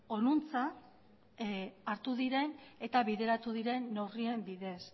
honantz hartu diren eta bideratu diren neurrien bidez